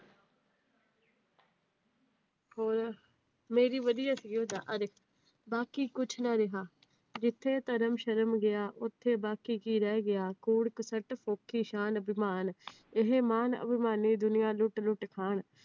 ਬਾਕੀ ਕੁਛ ਨਾ ਰਿਹਾ, ਜਿੱਥੇ ਧਰਮ ਸ਼ਰਮ ਗਿਆ ਉੱਥੇ ਬਾਕੀ ਕੀ ਰਹਿ ਗਿਆ, ਇਹ ਮਾਨ ਅਭਿਮਾਨੀ ਦੁਨੀਆਂ ਲੁੱਟ ਲੁੱਟ ਖਾਣ।